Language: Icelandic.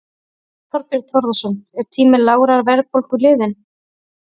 Þorbjörn Þórðarson: Er tími lágrar verðbólgu liðinn?